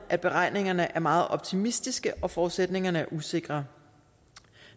at beregningerne er meget optimistiske og at forudsætningerne er usikre